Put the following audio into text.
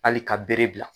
Hali ka bere bila